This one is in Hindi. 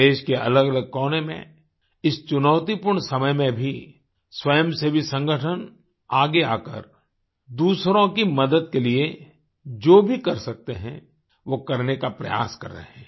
देश के अलगअलग कोने में इस चुनौतीपूर्ण समय में भी स्वयं सेवी संगठन आगे आकर दूसरों की मदद के लिए जो भी कर सकते हैं वो करने का प्रयास कर रहे हैं